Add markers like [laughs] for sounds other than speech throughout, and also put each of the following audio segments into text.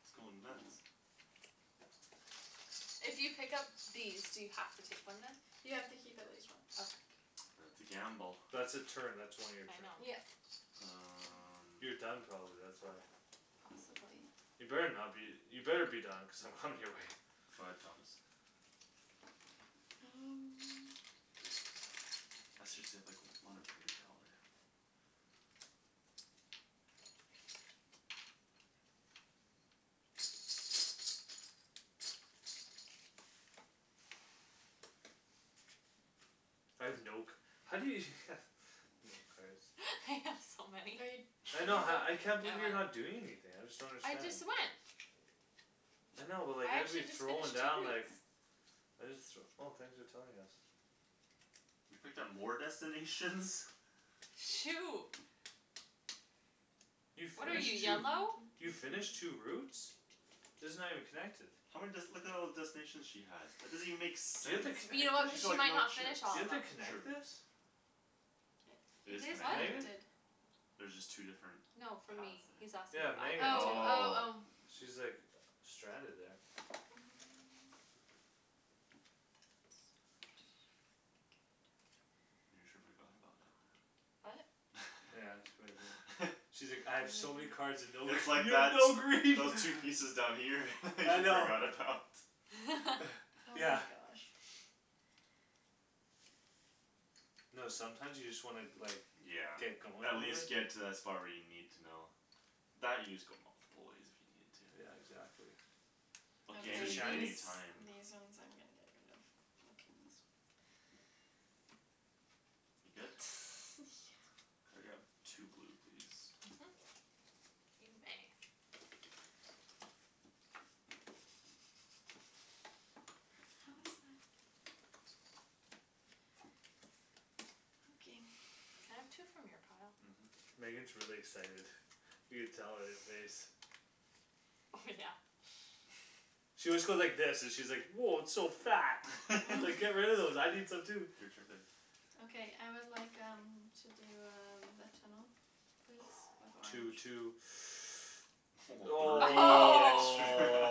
It's goin' nuts. If you pick up these do you have to take one then? You have to keep at least one. Okay. [noise] That's a gamble. That's a turn, that's one of your I turn. know. Yep. [noise] You're Um. done probably, that's why. Possibly. You better not be you better be done cuz I'm coming your way. Go ahead, Thomas. And [inaudible] Let's just save like one of every color. I have no c- how do you [laughs] No cards. [laughs] I have so Are you many. I Did you know ha- go? I can't believe you're [inaudible] not doing anything. I just don't I understand. just went. I know but like I I'd be actually just throwing finished two down like routes. I just th- Oh thanks for telling us. You picked up more destinations? Shoot. You What are you, finished two? yellow? You finished two [noise] routes? These are not even connected. How many dest- Look at all the destinations she has. That doesn't even make Do you have sense. to You connect know what, it? She's got she like might no not chips. finished Do all you of have them. to True. connect this? It It is is What? connected. Megan? connected. There's just two different No, for Paths me. He's there. asking Yeah, Megan. Oh, oh, Oh. oh. [inaudible] She's like uh stranded there. Mm. That's not gonna be good. You sure forgot about it. What? Yeah, that's what I did. [laughs] She's like, "I have so [inaudible] [inaudible] many cards and no." It's like You have that no those green. those pieces down here [laughs] you I know. forgot about. [laughs] Oh [noise] Yeah. my gosh. No, sometimes you just wanna like Yeah, Get going at a little. least get to that spot where you need to know. That you just go multiple ways if you needed to. Yeah, exactly. Okay, Okay, Is it these any any Shany's? these one's time. I'm gonna get rid of. I'll keep these. You good? [noise] Yeah. Could I grab two blue please. Mhm. You may. [noise] What was that? Okay. Can I have two from your pile? Mhm. Megan's really excited. You can tell on your face. Oh, yeah. [noise] She always goes like this, she's like, "Woah, it's so fat." It's [laughs] like, "Get rid [noise] of those. I need some too." Your turn babe. Okay, I would like, um To do um a tunnel please [noise] Two, with orange. two. [noise] Woah, three [noise] extra.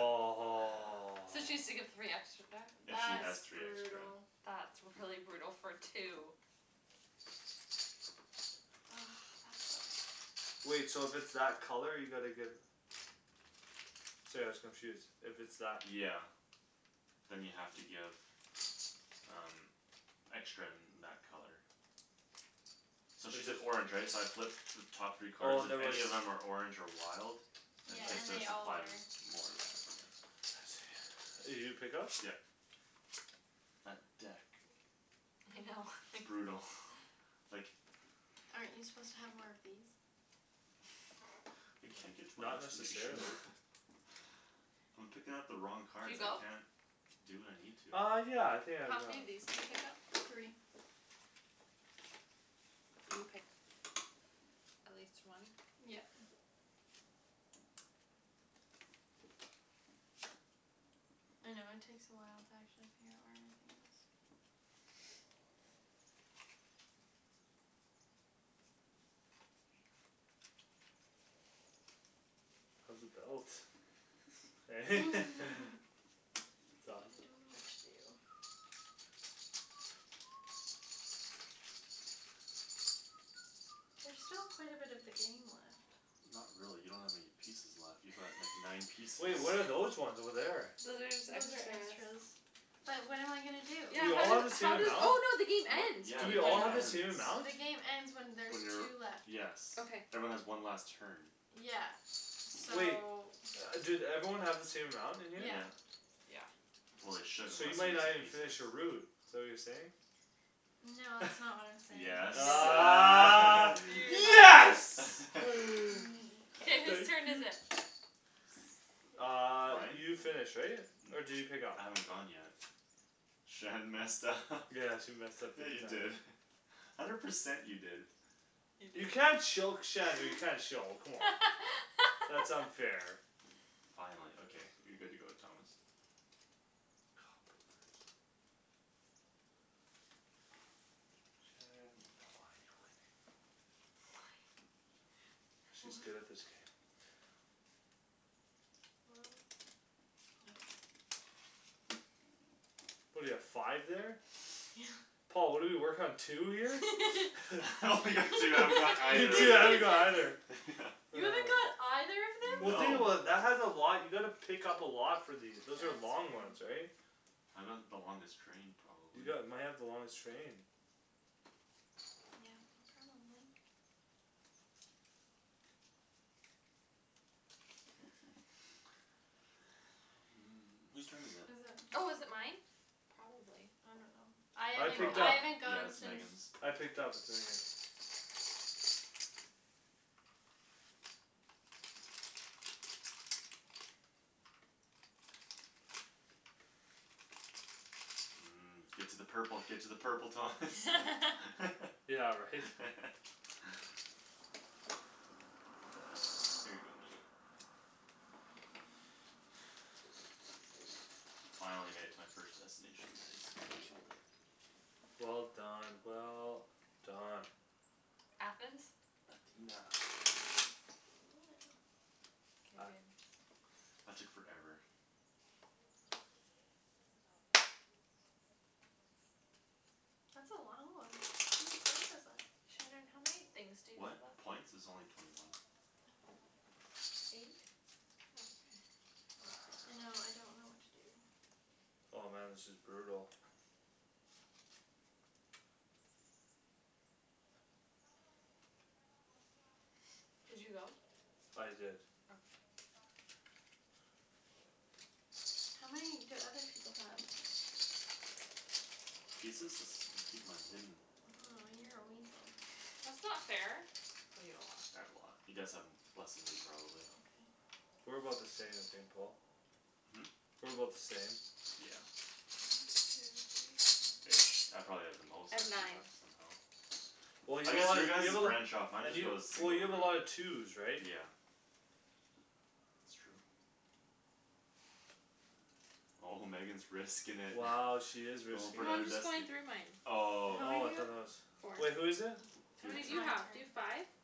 [laughs] So she has to give three extra back. If she That's has three extra. brutal. That's really brutal for two. Ah, that sucks. Wait, so if it's that color you gotta give Sorry I was confused, if it's that Yeah. Then you have to give Um Extra in that color. So If she's an there's orange right? So I flip The top three Oh, card, and there if was any of them are orange or wild Then Yeah, she I has and see. to they all are. supply them more of that, yeah. I see. Did you pick up? Yeah. That deck. I know. It's [laughs] brutal, like Aren't you suppose to have more of these? [noise] I No, can't get to my not destination. [laughs] necessarily. I'm picking up the wrong Did you cards. I go? can't do what I need to. Uh, yeah, I think I've How many gone. of these do you pick up? Three. And you pick at least one? Yep. I know it takes a while to actually figure out where everything is. [noise] How's the belt? Eh? [laughs] [laughs] It's I awesome. don't know what to do. [noise] There's still quite a bit of the game left. Not really. You don't have many pieces left. You've got like nine pieces. Wait, what are those ones over there? Those are just Those are extras. extras. But what am I gonna do? Do Yeah, we how all have do- the same how does amount? Oh, no, the game What? ends Yeah, Do the we all game have the ends. same amount? The game ends when When there's two you're, left. yes Okay. Everyone has one last turn. Yeah, so Wait. Do everyone have the same amount in here? Yeah. Yeah. Yeah Well, they should So you unless we're might not missing even finish pieces. your route. Is that what you're saying? No, that's not what [laughs] I'm saying. Yes, Ah ah. [noise] [laughs] yes [noise] [laughs] Mm, K, whose Thank k turn is you. it? [inaudible] Uh, Mine? you finished, right? [noise] Or did you pick up? I haven't gone yet. Shan messed up [laughs] Yeah, she messed up Yeah, big you time. did [laughs] hundred percent you did. You can't choke Shandy, you can't show come on, that's [laughs] unfair. Finally, okay, you're good to go, Thomas. Oh, poopers. Shandryn, why you're winning? She's good at this game. What? Well What do you have five there? [noise] Yeah. Paul, what do you work on two here? [laughs] [laughs] [laughs] I only got two. I haven't got You either of too I that. don't know either [laughs] [laughs] Yeah. You haven't got [noise] either of them? Well, think No. about it, that has a lot. You gotta pick up a lot for these. Those Yeah, are that's long very ones, right? I got the longest train You probably. got might have the longest train. Yeah, you probably [noise] Who's turn is it? Is it? Oh, is it mine? Probably. I don't know. I I haven't picked Probably. I up. haven't Yeah, gone it's since. Megan's. I picked up but then again Mm. Get to the purple, get to the purple, Thomas. [laughs] [laughs] Yeah, right? [laughs] Here you go, Megan. [noise] Finally made it to my first destination guys. Killed it. Well done, well done. Athens. Athena. [inaudible] K I babe. That took forever. That's a long one. How many points is that? Shandryn, how many things to you What? have up? A points? Is only twenty one. Oh, eight? Oh, okay. I know, I don't know what [noise] to do. Oh, man, this is brutal. [noise] Did you go? I did. Okay. How many do other people have? Pieces? It's I keep mine hidden. Oh, you're a weasel. That's not fair, oh, you have a lot. I have a lot. You guys have less then me probably. Okay. We're about the same, I think, Paul. Hmm? We're about the same. Yeah. Ish I probably have the most I've actually nine. left somehow. Well, you I guess have your guy's you have a lot branch off. Mine and just you goes Well, single you have a route. lot of twos right? Yeah. It's true. Oh, Megan's risking it. Wow, [noise] she is Goin' risking for No, it. another I'm just going destin- through mine. How Oh, okay. many Oh, you I thought that was have? Four. Wait, who Oh, is it? How Your many do it's turn. my you have? Do you have turn. five? Yeah.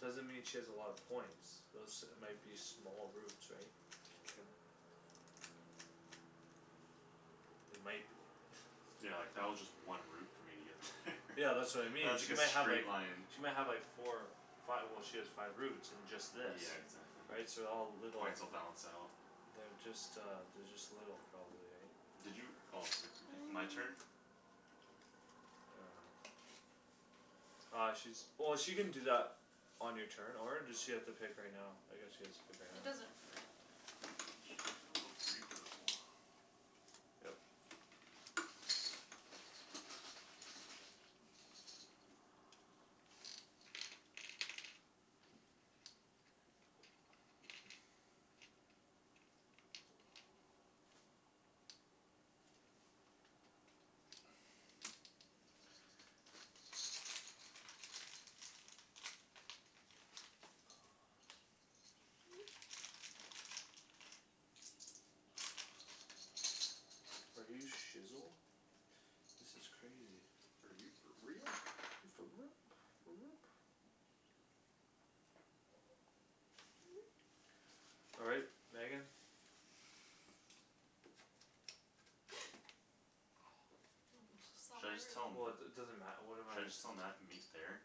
Doesn't mean she has a lot of points. Those might be small routes right? True. They might be [laughs] Yeah, like that was just one route for me to get there Yeah, [laughs] that's what I And mean, that's she like might a have like straight line. She might have like four five, well, she has five routes and just this Yeah, exactly. Right, so all little Points will balance out. They're just, uh They're just little probably, right? Did you? Oh, you're picking. I'm My picking. turn? I don't know. Uh, she's Oh, she can do that On your turn or does she have to pick right now? I guess she has to pick right now. It doesn't really matter all that I'll much. go three purple. Yep. Oh, my god. [noise] [noise] [noise] Are you shizzel? This is crazy. Are you for real? Are you for [inaudible] All right, Megan. Should I just tell 'em? Woah, it it doesn't matter. What am Should I I? just tell Mat to meet there?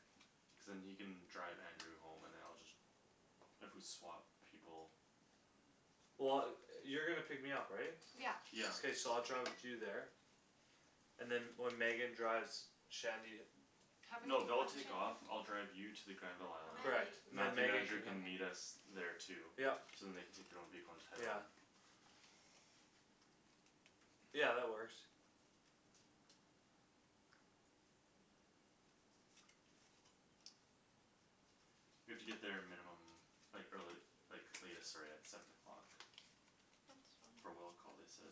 Cuz then he can drive Andrew home and then I'll just If we swap people. Well, yo- you're gonna pick me up, right? Yeah. Yeah. K, so I'll drive with you there and then when Megan drives Shandy How many No, do you they'll have take off. Shandryn? I'll drive you to the Granville How island. I many? have Correct. eight. Then Mathew and Megan Andrew can come. can meet us Okay. there too. Yup. So then they can take their own vehicle and just head home. Yeah. Yeah, that works. We have to get there a minimum Like early like latest sorry at Seven o'clock. That's For fine. will call, they said.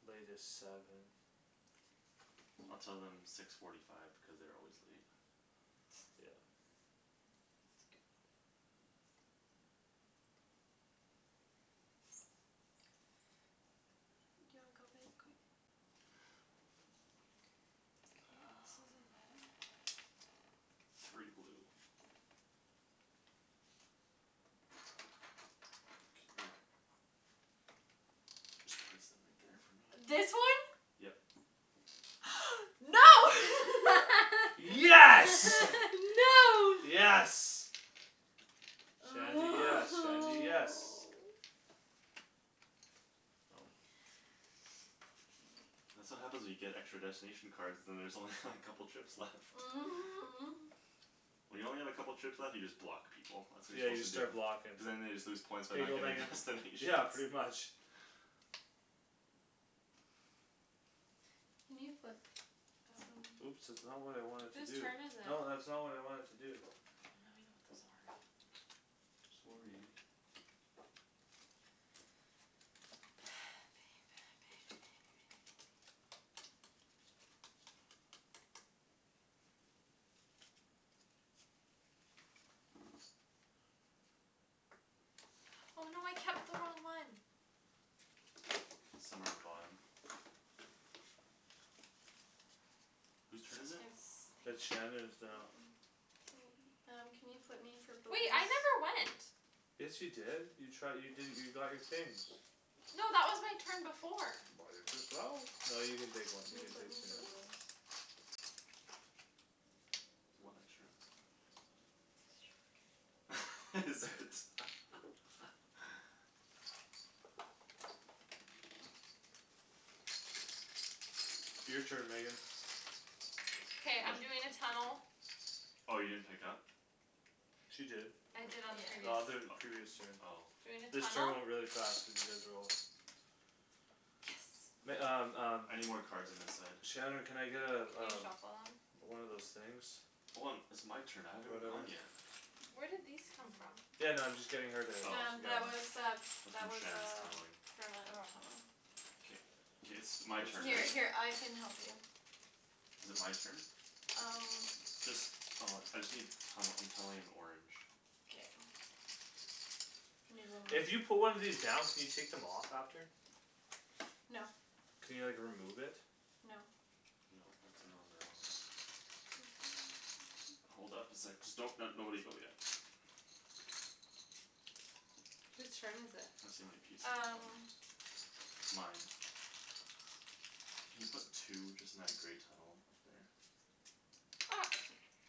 Latest seven. I'll tell them six forty five because they're always late. Yeah. [noise] That's a good one. Do you wanna go babe quick? [noise] Um. Three blue. Can you Just place them right there for me This one? Yep. No. [laughs] Yes. [laughs] [laughs] No. Yes. Shandy, yes, Shandy, yes. [noise] Oh. That's what happens when you get extra destination cards. Then there's only like couple trips left. [noise] When you only have a couple trips left you just block people. That's what Yeah, you're you just suppose to do. start blockin'. Cuz then they just lose points by Here you not go, getting Megan. destinations. Yeah, pretty much. [laughs] Can you flip Oh. some? Oops, that's not what I wanted to Whose do. turn is it? No, that's not what I wanted to do. Oh, now I know what those are Sorry. [inaudible] Somewhere on the bottom? Whose turn is it? It's It's Shandryn's now. Mine. K, um, can you put me for Wait, I never went. [inaudible] Yes, you did you try you did you got your things No, that was my turn before. Buy it yourself. No, you can take Can you one, flip you can me take two for now. blues? [inaudible] One extra? [laughs] Is it? [laughs] Your turn, Megan. K, I'm [inaudible] doing a tunnel. Oh, you didn't pick up? She did. I did on the The previous other previous turn. O- oh Doing a This turn tunnel went really fast cuz you guys were all Yes. Meg- um um I need more cards on this side. Shandryn, can I get uh Can you uh shuffle them? One of those things Hold on. It's my turn. I haven't even gone Whatever. yet. Where did these come from? Yeah, no, I'm just getting her to Oh. get one That's from Shand's tunneling. Oh. K, k, it's my turn, right? [inaudible] Is it my turn? Just uh I just need tunnel. I'm tunneling in orange. K. If you put one of these down can you take them [inaudible] off after? No. Can you like remove it? No. No, once they're on they're on. [noise] Hold up a sec. Just don't nobody go yet. Whose turn is it? Tryin' to see how many pieces I have Um. left. Mine. Can you put two just in that grey tunnel up there? Ops.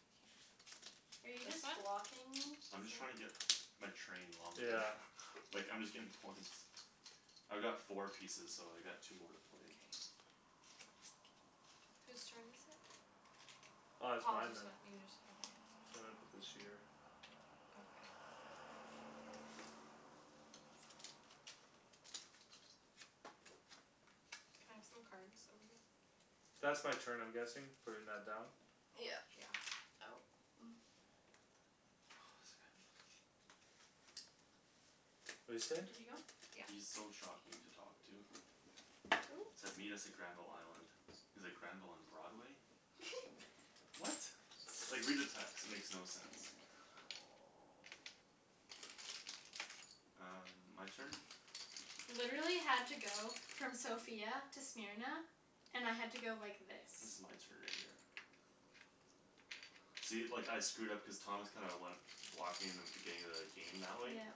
[inaudible] Are you just This one? blocking me? I'm just trying to get my train longer Yeah. [laughs] like I'm just getting points. I've got four pieces, so I got two more to play. K. Whose turn is it? Uh, it's Paul mine just then. went, you just, okay Sorry, I put this here. Okay. Can I have some cards over here? That's my turn I'm guessing. Putting that down? Yeah. Yeah Oh [noise] [inaudible] What'd you say? He's Yeah. so shocking to talk to. Said meet us at Granville island. He's like, "Granville and Broadway?" [laughs] What? Like read the text. It makes no sense. Um, my turn? Literally had to go from Sofia to Smyrna, and I had to go like this. This is my turn right here. See, like I screwed up cuz Thomas kinda went Blocked me in the beginning of the game that way. Yeah.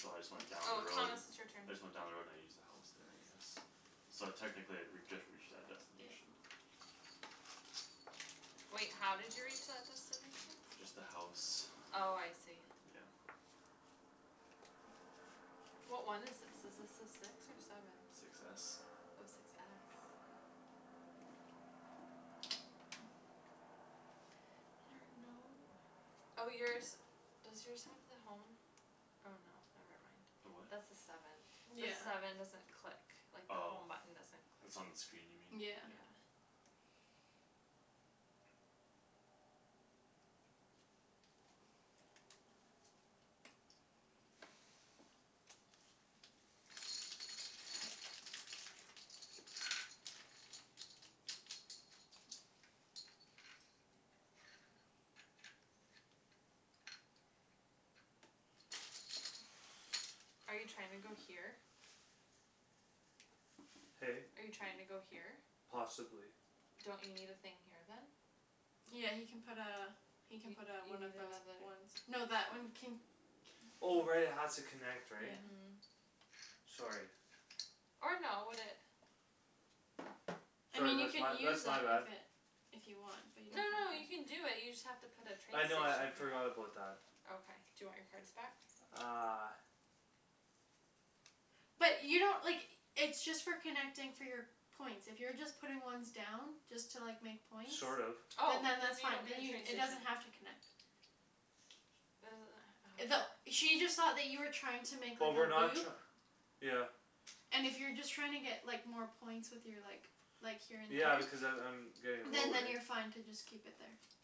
So I just went down the Oh, road. Thomas it's your turn. I just went down the road and I used the house there I guess. So technically I re- I just reached that Yeah. destination. Wait, how did you reach that destination? Just the house. Oh, I see. Yeah. [noise] What one is this? Is this the six or seven? Six s. Oh, six s There are no ho- Oh, yours, does yours have the home? Oh, no, never The mind. what? That's the seven. The Yeah. seven doesn't click like the Oh, home button, doesn't click, it's on the screen you mean? yeah. Yeah. Yeah. Are you trying to go here? Hey? Are you trying to go here? Possibly. Don't you need a thing here then? Yeah, he can put uh You He can put a one of you need another those [inaudible] Oh, right, it has to connect, right? Mhm. Yeah. Sorry. Or no would it I Sorry, mean you that's my can use that's my that bad. if it If you want but you No, don't no, have you to can do it, you just have to put a train I know I I'd station here forgot about that. Okay, do you want your cards back? Uh. But you don't, like, it's just for connecting for your points. If you're just putting ones down, just to like make points. Sort of. Oh, And then then that's you fine. don't need a train It does station not have to connect. [noise] That she just saw that you were trying to make But up a we're not loop. tr- Yeah. And if you're just trying to get like more points with your like Like here Yeah in because a I'm I'm route. Getting Then low, right? then you're fine to just keep it there.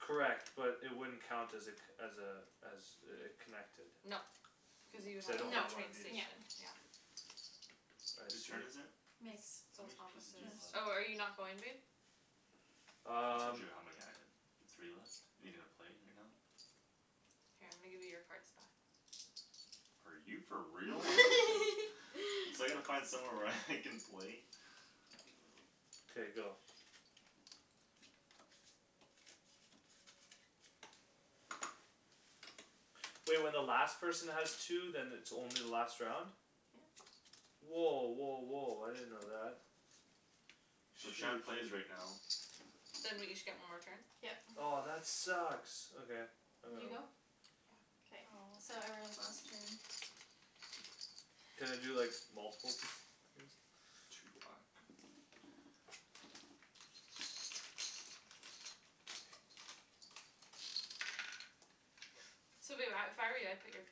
Correct but it wouldn't count as a co- as a As a a connected No, cuz you would Cuz I have to don't put No. a have one of train these. Yeah. station yeah Whose turn is it? [inaudible] It's How still many Thomas' pieces do you have left? Oh, are you not going babe? I told Um. you how many I have. You have three left? Are you gonna play right now? Here I'm gonna give you your cards back Are you for real? [laughs] [laughs] So I gotta find somewhere [laughs] where I can play K, go. Wait, when the last person has two then it's only the last round? Yeah. Woah, woah, woah, I didn't know that. So Shoot. Shand plays right now. Then we each get one more turn? Yep. Oh, that sucks, okay. I got You go? one. Yeah. Aw. Can I do like multiple th- things? Two black. So babe I if I were you I'd put your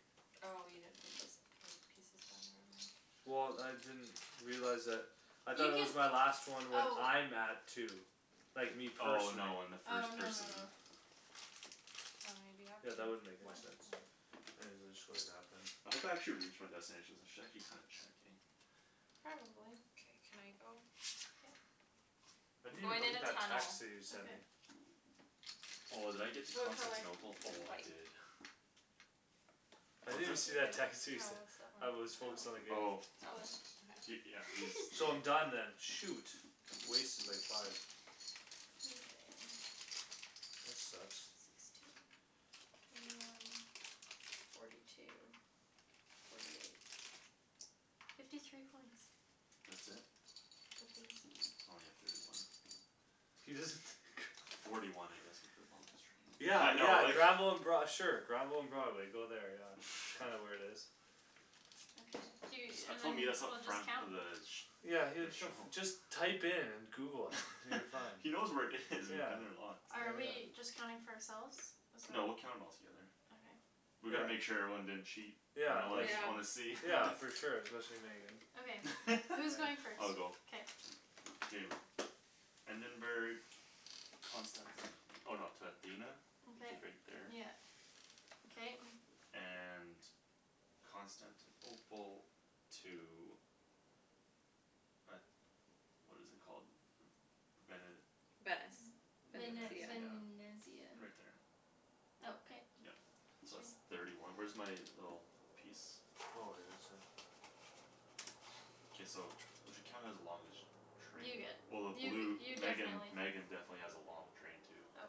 Oh, you didn't put those pil- pieces down there, never mind Well, I didn't realize that. I thought it was my You last one when can, I'm at two. oh Like me Oh, Oh, no, no, personally. no, when the first person no. How many do you have? Yeah, Two? that wouldn't make One. any sense. One. I'll just go like that then. I hope I actually reach my destinations. I should actually kinda check eh? Probably. Okay, can I go? Yeah. I I'm didn't even going look in at a that text tunnel that you sent me. Okay. Oh, did I get to What color? Constantinople? Oh, I White. did. I What's didn't that? even see that text you No, sent. what's that one? I was focused on the game. Oh. [inaudible] Okay. He, yeah, he's So I'm done then. [laughs] shoot. Wasted like five. Okay. [noise] That sucks. Sixteen, twenty one, forty two Forty eight Fifty three points That's it? I think so. Only have thirty one [inaudible] Forty one I guess with the [laughs] longest train. Yeah, Yeah, I know yeah, like Granville and Broad- sure Granville and Broadway, go there, yeah. Kinda where it is. [noise] I jus- I told meet us up front the village Yeah, he That show shuf- just Type in and google it Until you find [noise] He knows where it is. We've Yeah. been there lots. Are we [inaudible] just counting for ourselves? No, we'll [inaudible] count 'em all together Okay. We Yeah. gotta make sure everyone didn't cheat. Y'know Yeah, I wanna like I Yeah. wanna see Yeah, [laughs] for sure, especially Megan. [inaudible] [laughs] I'll go. K. Endenburg Constanti- oh no to Athena Which Okay is right there. yeah okay And Constantinople To a What is it called? Vene- Venice Vene- Venezia Venezia, Venesia right there Okay. Yup. So that's thirty one. Where's my little piece? Oh, I didn't see that. K, we should count it as the longest You Train get well the you blue you Megan definitely Megan definitely has a long train too Okay.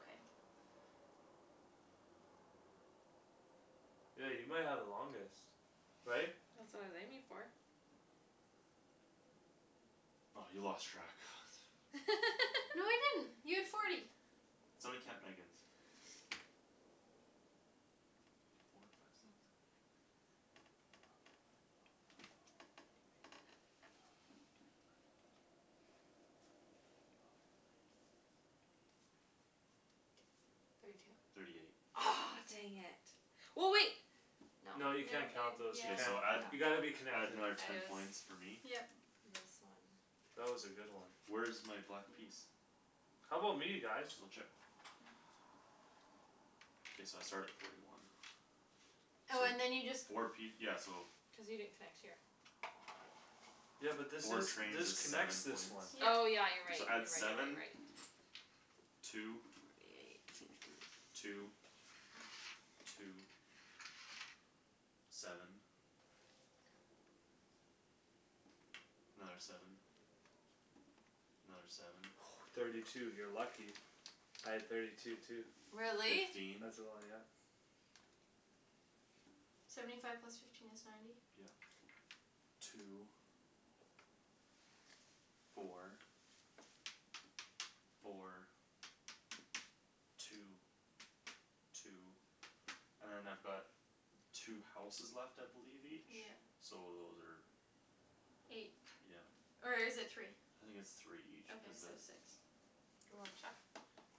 Yeah, you might have the longest right? That's what I was aiming for. By you lost track [noise] No, [laughs] I didn't. You have forty. Somebody count Megan's One, Four, two, three [inaudible] five, six Four, five, six, seven, eight, nine, ten, eleven, twelve, thirteen, fourteen, fifteen, sixteen, seventeen, eighteen, nineteen, twenty Twenty one, twenty two [inaudible] [inaudible] [inaudible] Thirty two Thirty eight Aw, dang it Well, wait No. No, No, you in yeah, can't count those, you K, can't. so add You Yeah. gotta be yeah add connected. another ten points [inaudible] for me. Yep. This one. That was a good one. Where's my black piece? How 'bout me guys? Blue chip. K, so I start at forty one. Oh, So, and then you just four piec- yeah so Cuz you didn't connect here Yeah. but this Four is trains this is connects seven this points one. Oh, Yeah. yeah, you're right, So you're add right, you're right, you're seven right. Two Forty eight, fifty Two Two Seven Another seven Another seven [noise] Thirty two. You're lucky. Three, I had thirty four, five two too. Really? Really? Fifteen As well, yeah. Seventy five plus fifteen is ninety Yeah. Two Four Four Two, two And then I've got Two houses left I believe each, Yeah. so those are Eight, Yeah. or is it three? I think it's three each Okay, cuz the so six Do you wanna check?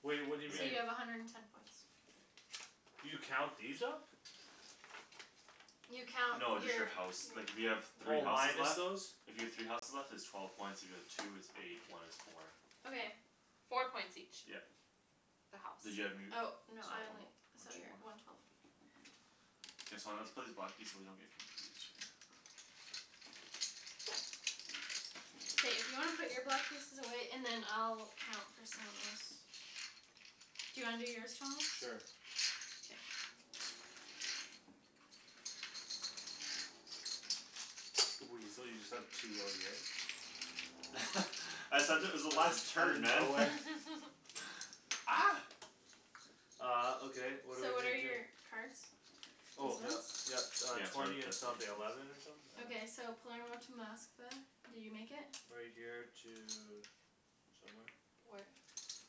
Wait, what So do you mean? you Yeah. have a hundred and ten points. Okay. You count these up? You count No, you're, just the house. Like if you have yeah three Oh houses minus left those? If you have three houses left it's twelve points, if you have like two it's eight, one is four. Okay. Four Four points points each each. Yep. The house. [inaudible] So one more? Or two more? Okay K, so I'm gonna have to put these black piece away so you don't get confused right here. K. If you wanna put your block pieces away, and then I'll count for someone else. Do you wanna do yours, Thomas? Sure. Yeah. Weasel, you just have two out here? [laughs] I said it was the Out last outta turn, man. [laughs] nowhere [laughs] Ah. Uh, okay, what what are So we what are gonna do? your cards? These Oh, yup. ones? Yup, uh, Yeah, start with twenty and something destinations. eleven or something? I don't Okay, so know. Palermo to Moskva, did you make it? Right here to Somewhere Where?